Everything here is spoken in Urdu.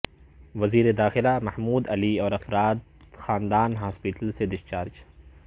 وزیر داخلہ محمود علی اور افراد خاندان ہاسپٹل سے ڈسچارج